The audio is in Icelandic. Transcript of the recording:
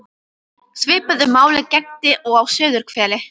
Svipuðu máli gegndi og á suðurhveli.